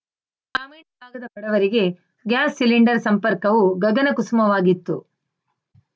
ಗ್ರಾಮೀಣ ಭಾಗದ ಬಡವರಿಗೆ ಗ್ಯಾಸ್‌ ಸಿಲಿಂಡರ್‌ ಸಂಪರ್ಕವು ಗಗನ ಕುಸುಮವಾಗಿತ್ತು